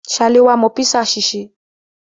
Ṣaléwá mọ písà ṣe.